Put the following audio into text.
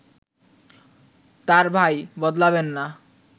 তাঁর ভাই বদলাবেন না